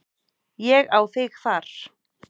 Ég á þig þar.